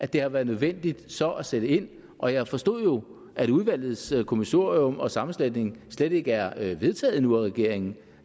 det har været nødvendigt så at sætte ind og jeg forstod jo at udvalgets kommissorium og sammensætning slet ikke er er vedtaget endnu af regeringen